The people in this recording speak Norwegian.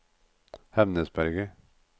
Hemnesberget